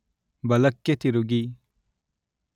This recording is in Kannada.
ಬಲಕ್ಕೆ ತಿರುಗಿ